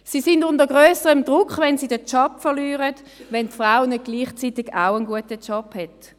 Sie stehen unter grösserem Druck, wenn sie den Job verlieren, wenn die Frau nicht gleichzeitig auch einen guten Job hat.